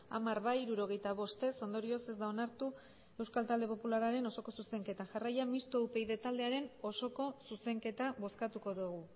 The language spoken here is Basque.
hamar bai hirurogeita bost ez ondorioz ez da onartu euskal talde popularraren osoko zuzenketa jarraian mistoa upyd taldearen osoko zuzenketa bozkatuko dugu